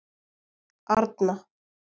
Arna